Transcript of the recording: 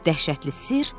Dəhşətli sirr.